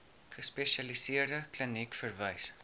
gespesialiseerde kliniek verwys